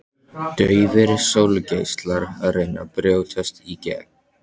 Daufir sólgeislar að reyna að brjótast í gegn.